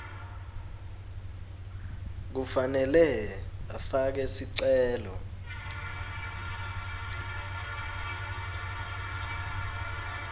kufanele afake sicelo